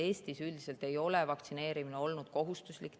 Eestis üldiselt ei ole vaktsineerimine olnud kohustuslik.